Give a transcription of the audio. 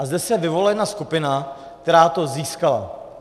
A zde se vyvolila jedna skupina, která to získala.